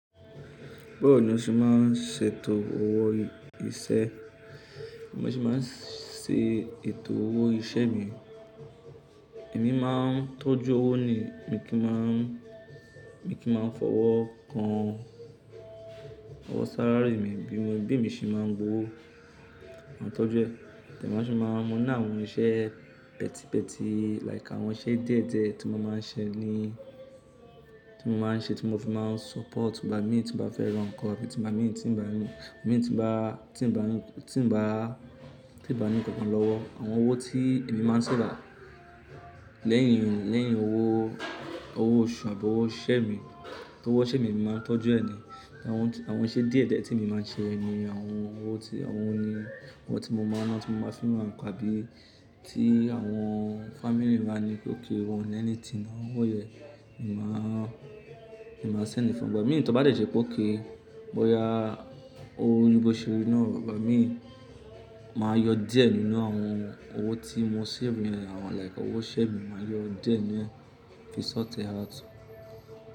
Báwo ni o ṣe máa ń ṣètò owó iṣẹ́? Mo ṣe máa ń ṣètò owó iṣẹ́ mi. Èmi máa ń tọ́jú owó ni mi kí n máa ń, mi kí n máa ń fọwọ́ kan owó salary mi bí mo, bí èmi ṣe má ń gbo ówo, máa tọ́jú ẹ̀. Ẹ̀dẹ̀ má ń ṣe, má ń múná àwọn iṣẹ́ pẹtipẹti like àwọn iṣẹ́ díẹ̀díẹ̀ tí mo má ń ṣe ni, tí mo má ń ṣe tí mo fi má ń support ìgbà mi tí n bá fẹ́ rán ǹkan, bí ìgbà mi tí n bá, tí n bá, tí n bá, tí n bá ní kankan lówó. Àwọn owó tí èmi má ń ṣe bá a lẹ́yìn, lẹ́yìn owó, owó oṣù àbọ́ owó iṣẹ́ mi, towó iṣẹ́ mi èmi má ń tọ́jú ẹ̀ ni. Àwọn àwọn iṣẹ́ díẹ̀díẹ̀ tí èmi máa ń ṣe yẹn ni àwọn owó tí mo máa ń fi ra ǹka àbí tí àwọn family bá ní okay wọ́n ò ní anything àwọn owó yẹn. Èmi má ń, èmi má ń send fún ìgbà mi tó bá dẹ̀jẹ̀ pé ókay. Bóya owó oní ìbòṣorí náà ìgbà mi máa yọ díẹ̀ nínú àwọn owó tí mo save yẹn àwọn like owó iṣẹ́ mi máa yọ díẹ̀ nínú ẹ̀ fi ṣort e out.